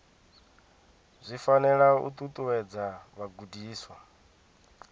zwi fanela u ṱuṱuwedza vhagudiswa